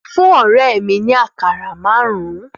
Fún ọ̀rẹ́ mìi ni àkàrà márùn-ún